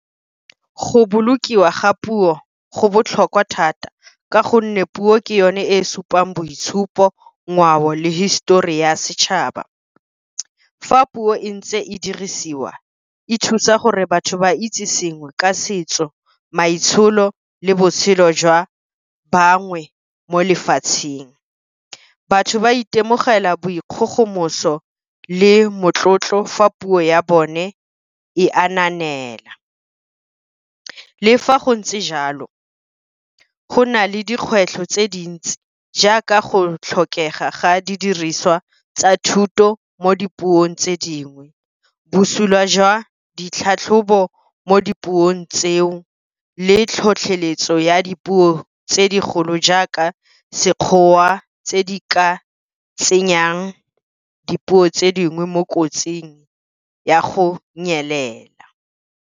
Go bolokiwa ga puo go botlhokwa thata, ka gonne puo ke yone e supang boitshupo, ngwao le histori ya setšhaba. Fa puo e ntse e dirisiwa e thusa gore batho ba itse sengwe ka setso, maitsholo le botshelo jwa bangwe mo lefatsheng. Batho ba itemogela boikgogomoso le motlotlo fa puo ya bone e , le fa go ntse jalo go na le dikgwetlho tse dintsi jaaka go tlhokega ga didiriswa tsa thuto mo dipuong tse dingwe. Bosula jwa ditlhatlhobo mo dipuong tseo le tlhotlheletso ya dipuo tse digolo jaaka Sekgowa, tse di ka tsenyang dipuo tse dingwe mo kotsing ya go nyelela.